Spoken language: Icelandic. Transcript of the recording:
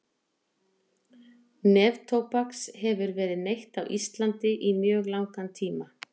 Neftóbaks hefur verið neytt á Íslandi í mjög langan tíma.